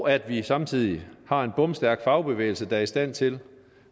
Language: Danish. at vi samtidig har en bomstærk fagbevægelse der er i stand til